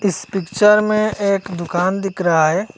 इस पिक्चर में एक दुकान दिख रहा है।